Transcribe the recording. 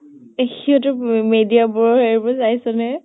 সিহঁতৰ ম media বোৰৰ সেইবোৰ চাইছ নে?